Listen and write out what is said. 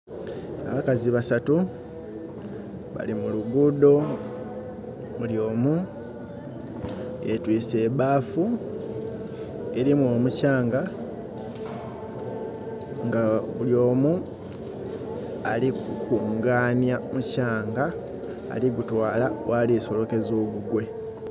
Abakazi basatu bali muluguudo bulyomu yetwiswe ebafu erimu omukyanga nga bulyomu alikunganhya mukyanga ali kugutwala ghali kusolokeza ogugwe.